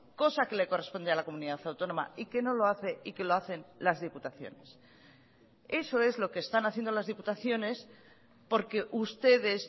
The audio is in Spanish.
cosa que le corresponde a la comunidad autónoma y que no lo hace y que lo hacen las diputaciones eso es lo que están haciendo las diputaciones porque ustedes